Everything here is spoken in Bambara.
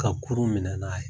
Ka kurun minɛ n'a ye